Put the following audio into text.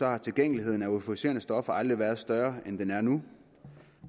har tilgængeligheden af euforiserende stoffer aldrig været større end den er nu